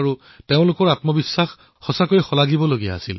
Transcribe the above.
তেওঁলোকৰ আত্মবিশ্বাস অতিশয় প্ৰভাৱী আছিলউৎসাহক আছিল